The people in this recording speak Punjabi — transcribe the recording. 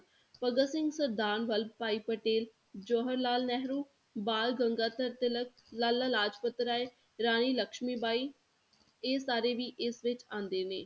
ਭਗਤ ਸਿੰਘ, ਸਰਦਾਰ ਬਲਵ ਭਾਈ ਪਟੇਲ, ਜਵਾਹਰ ਲਾਲ ਨੇਹਰੂ, ਬਾਲ ਗੰਗਾਧਰ ਤਿਲਕ, ਲਾਲਾ ਲਾਜਪਤਰਾਇ, ਰਾਣੀ ਲਕਸ਼ਮੀ ਬਾਈ, ਇਹ ਸਾਰੇ ਵੀ ਇਸ ਵਿੱਚ ਆਉਂਦੇ ਨੇ।